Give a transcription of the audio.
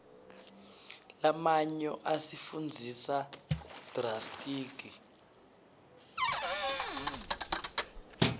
lamanyo asifundzisa rdatsitg